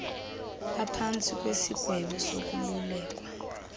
baphantsi kwesigwebo sokolulekwa